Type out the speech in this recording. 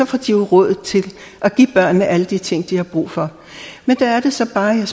får de jo råd til at give børnene alle de ting de har brug for men der er det så bare jeg